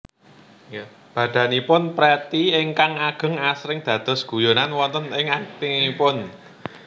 Badanipun Pretty ingkang ageng asring dados guyonan wonten ing aktingipun